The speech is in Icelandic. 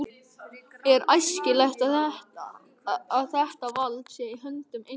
Er æskilegt að þetta vald sé í höndum eins manns?